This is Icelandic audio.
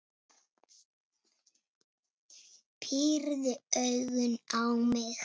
Pírði augun á mig.